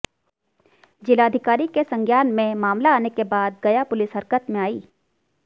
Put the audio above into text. जिलाधिकारी के संज्ञान में मामला आने के बाद गया पुलिस हरकत में आई